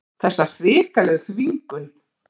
Þessa hrikalegu þvingun.